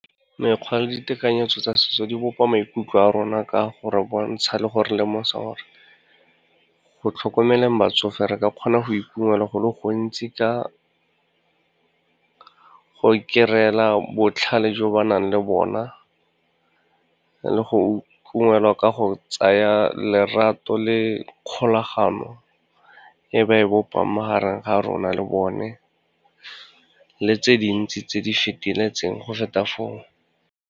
Mekgwa le ditekanyetso tsa setso di bopa maikutlo a rona ka gore bontsha le gore lemosa gore, go tlhokomeleng batsofe re ka kgona go e ungwelwa go le gontsi go e kry-la botlhale jo ba nang le bona, le go e ungwelwa ka go tsaya lerato le kgolagano e ba e bopang, magareng ga rona le bone, le tse dintsi tse di feteletseng go feta foo.